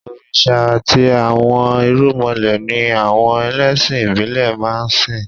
Òrìṣà àti àwọn irúnmọlẹ̀ ni àwọn ẹlẹ́sìn ìbílẹ̀ máa ń sìn